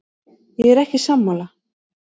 Ég er ekki sammála.